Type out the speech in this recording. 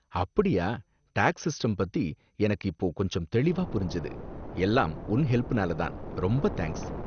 அப்படியா, tax system பத்தி எனக்கு இப்போ கொஞ்சம் தெளிவா புரிஞ்சது, எல்லாம் உன் ஹெல்ப்னால தான், ரொம்ப தேங்கஸ்